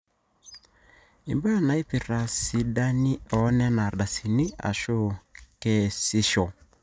imbaa naaipirta sidani oonena ardasini aashu keesisho